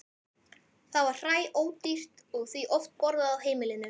Það var hræódýrt og því oft borðað á heimilinu.